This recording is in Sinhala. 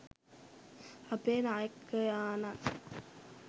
අපගේ නායකයාණන්